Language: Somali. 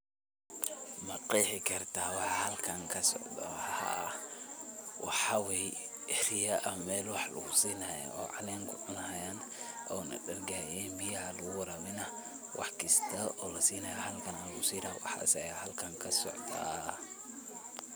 Ma qeexi kartaa waxa halkan ka socdo, Haa waxaa weye eriya aa Meel wax lagu sini haya o nah dargayan, biyaha aya lagu warawini, wax kasto lasinayo halkan aya lagusini, waxas aya halkan kasocdaa.